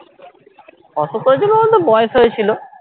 অসুখ করেছিল বলতে বয়স হয়েছিল